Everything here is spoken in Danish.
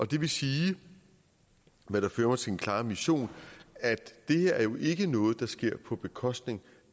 det vil sige hvad der fører mig til en klar mission at det her jo ikke er noget der sker på bekostning